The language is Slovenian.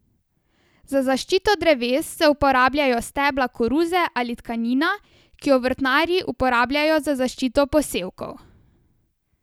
Za zaščito dreves se uporabljajo stebla koruze ali tkanina, ki jo vrtnarji uporabljajo za zaščito posevkov.